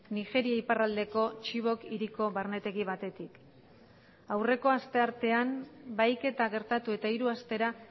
nigeria iparraldeko txibok hiriko barnetegi batetik aurreko asteartean bahiketa gertatu eta hiru astera